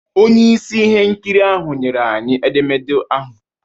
Onye isi ihe nkiri ahụ nyere anyị edemede ahụ